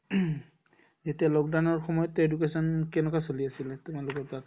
এতিয়া lockdown ৰ সময়ত education কেনেকুৱা চলি আছিলে তোমালোকৰ তাত